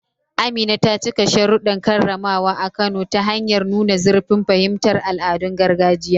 Amina ta cika sharuɗɗan karramawa a Kano ta hanyar nuna zurfin fahimtar al'adun gargajiya.